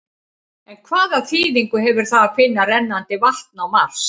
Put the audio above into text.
En hvaða þýðingu hefur það að finna rennandi vatn á Mars?